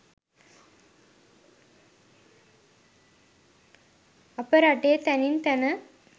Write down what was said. අප රටේ තැනින් තැන